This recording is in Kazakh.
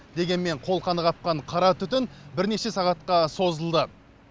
дегенмен қолқаны қапқан қара түтін бірнеше сағатқа созылды